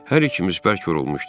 Hər ikimiz bərk yorulmuşduq.